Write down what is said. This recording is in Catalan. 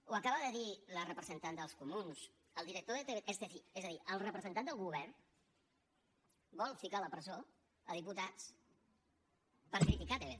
ho acaba de dir la representant dels comuns és a dir el representant del govern vol ficar a la presó diputats per criticar tv3